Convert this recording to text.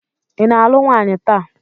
ị na-alụ nwaanyị taa?